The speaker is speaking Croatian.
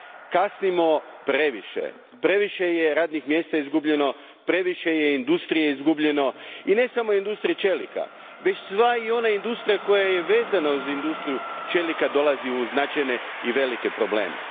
Kasnimo previše, previše je radnih mjesta izgubljeno, previše je industrije izgubljeno i ne samo industrije čelika, već i sva ona industrija koja je vezana uz industriju čelika dolazi u značajne i velike probleme.